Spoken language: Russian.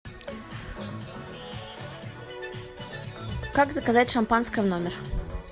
как заказать шампанское в номер